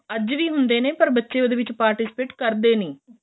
ਅੱਜ ਵੀ ਹੁੰਦੇ ਨੇ ਪਰ ਬੱਚੇ ਉਹਦੇ ਵਿੱਚ participate ਕਰਦੇ ਨਹੀਂ